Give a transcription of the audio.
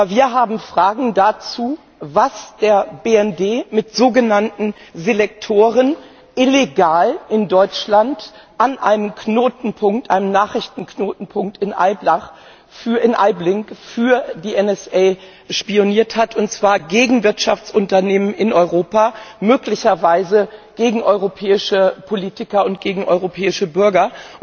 Wir haben Fragen dazu, was der BND mit sogenannten Selektoren illegal in Deutschland an einem Nachrichtenknotenpunkt in Bad Aibling für die NSA spioniert hat, und zwar gegen Wirtschaftsunternehmen in Europa, möglicherweise gegen europäische Politiker und gegen europäische Bürger.